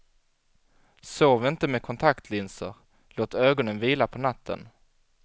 Sov inte med kontaktlinser, låt ögonen vila på natten.